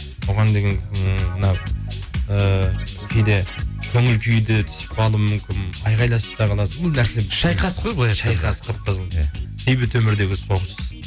оған деген м мынау і кейде көңіл күй де түсіп қалуы мүмкін айқаласып та қаласың енді әр нәрсе шайқас қой былайынша шайқас қып қызыл иә бейбіт өмірдегі соғыс